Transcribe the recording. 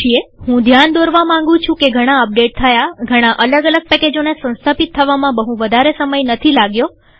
હું ધ્યાન દોરવા માંગું છું કે ઘણા અપડેટ થયાઘણા અલગ અલગ પેકેજોને સંસ્થાપિત થવામાં બહું વધારે સમય નથી લાગ્યો